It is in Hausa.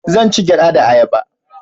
Zan ci gyada da ayaba